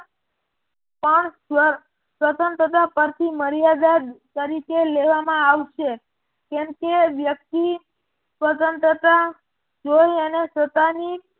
સ્વતંત્રતા પરથી મર્યાદા તરીકે લેવામાં આવશે કેમ કે વ્યક્તિ સ્વતંત્રતા જોય અને સત્તાની